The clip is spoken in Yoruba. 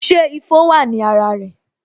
Ṣé ifo wa ní ara rẹ